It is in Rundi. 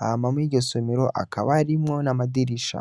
hama muriryo somero hakaba harimwo n'amadirisha.